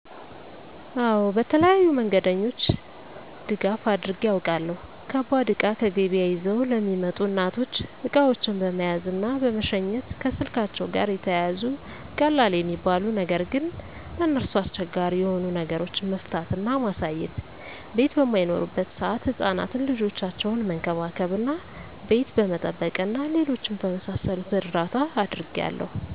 አወ በተለያዩ መንገደኞች ድጋፍ አድርጌ አውቃለሁ። ከባድ እቃ ከገበያ ይዘው ለሚመጡ እናቶች እቃዎችን በመያዝ እና በመሸኘት፣ ከስልካቸዉ ጋር የተያያዙ ቀላል የሚባሉ ነገር ግን ለነርሱ አስቸጋሪ የሆኑ ነገሮችን መፍታት እና ማሳየት፣ ቤት በማይኖሩበት ሰአት ህፃናትን ልጆቻቸውን መንከባከብ እና ቤት በመጠበቅ እና ሌሎችም በመሳሰሉት እርዳታ አድርጌያለሁ።